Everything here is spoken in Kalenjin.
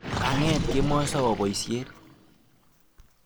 Kang'et kemoi sowo boisiet.